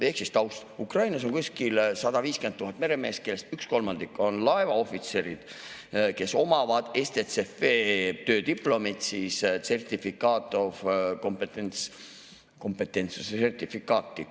Ehk siis taust: Ukrainas on kuskil 150 000 meremeest, kellest üks kolmandik on laevaohvitserid, kes omavad STCW‑töödiplomit, Certificate of Competency, kompetentsuse sertifikaati.